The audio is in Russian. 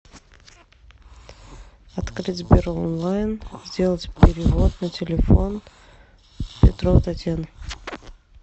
открыть сбер онлайн сделать перевод на телефон петрова татьяна